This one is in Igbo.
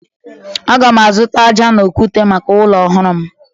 Aga m azụta aja na okwute maka ụlọ ọhụrụ m.